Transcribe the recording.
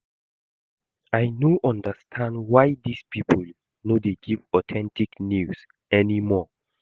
I no understand why dis people no dey give authentic news anymore